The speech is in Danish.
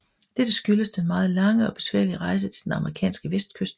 Dette skyldes den meget lange og besværlige rejse til den amerikanske vestkyst